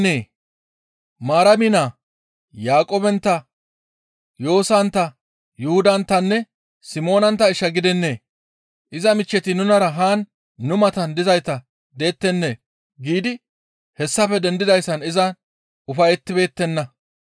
«Hayssi anaaxeza gidennee? Maarami naa Yaaqoobentta Yoosantta, Yuhudanttanne Simoonantta isha gidennee? Iza michcheti nunara haan nu matan dizayta dettenee?» giidi hessafe dendidayssan izan ufayettibeettenna.